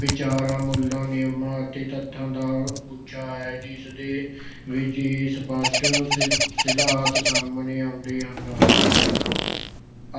ਵਿਚਾਰਾਂ, ਮੁੱਲਾਂ, ਨਿਯਮਾਂ ਅਤੇ ਤੱਥਾਂ ਦਾ ਗੁੱਛਾ ਹੈ। ਜਿਸ ਦੇ ਵਿੱਚ ਹੀ ਸਪੱਸ਼ਟ ਸਿ ਅਹ ਸਿਧਾਂਤ ਸਾਹਮਣੇ ਆਉਂਦੇ ਹਨ।